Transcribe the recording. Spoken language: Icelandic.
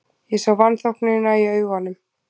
Ég sá vanþóknunina í augum